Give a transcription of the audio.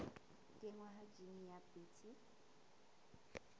kenngwa ha jine ya bt